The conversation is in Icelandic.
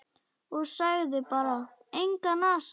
Og sagði bara: Engan asa.